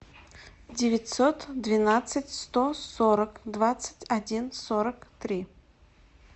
девятьсот двенадцать сто сорок двадцать один сорок три